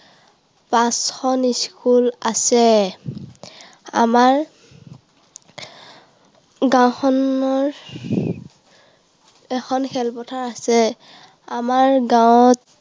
পাঁচখন school আছে। আমাৰ গাঁওখনত এখন খেলপথাৰ আছে। আমাৰ গাঁৱত